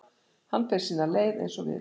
Hann fer sína leið eins og við.